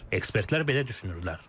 Ekspertlər belə düşünürlər.